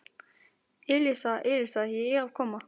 Elísa, Elísa, ég er að koma